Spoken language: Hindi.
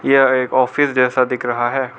यह एक ऑफिस जैसा दिख रहा है।